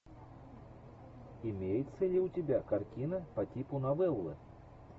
имеется ли у тебя картина по типу новеллы